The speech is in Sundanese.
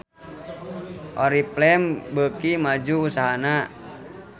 Oriflame beuki maju usahana